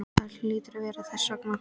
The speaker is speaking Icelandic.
Það hlýtur að vera þess vegna.